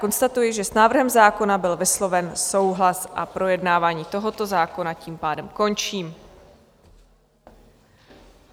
Konstatuji, že s návrhem zákona byl vysloven souhlas, a projednávání tohoto zákona tím pádem končí.